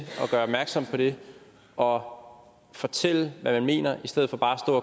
at gøre opmærksom på det og fortælle hvad man mener i stedet for bare at